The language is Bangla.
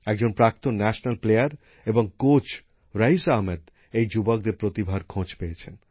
একজন প্রাক্তন জাতীয়স্তরের খেলোয়াড় এবং প্রশিক্ষক রইস আহমেদ এই যুবকদের প্রতিভার খোঁজ পেয়েছেন